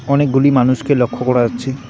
অনেকগুলি মানুষকে লক্ষ করা যাচ্ছে।